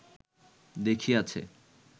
দেখিয়াছে